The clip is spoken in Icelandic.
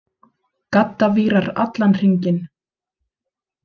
Gaddavírar allan hringinn.